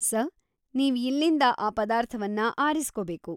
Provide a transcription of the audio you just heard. Sir, ನೀವ್‌ ಇಲ್ಲಿಂದ ಆ ಪದಾರ್ಥವನ್ನ ಆರಿಸ್ಕೊಬೇಕು.